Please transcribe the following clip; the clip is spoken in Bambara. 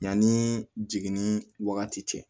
Yanni jigin ni wagati cɛ